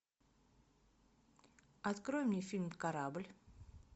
открой мне фильм корабль